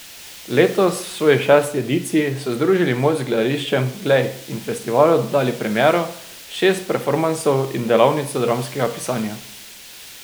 Letos, v svoji šesti ediciji, so združili moči z Gledališčem Glej in festivalu dodali premiero, šest performansov in delavnico dramskega pisanja.